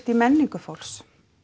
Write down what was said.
í menningu fólks